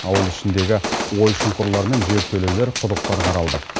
ауыл ішіндегі ой шұңқырлар мен жертөлелер құдықтар қаралды